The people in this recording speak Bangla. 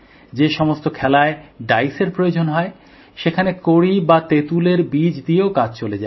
যে সমস্ত খেলায় ডাইসের প্রয়োজন হয় সেখানে কড়ি বা তেঁতুলের বীজ দিয়েও কাজ চলে যায়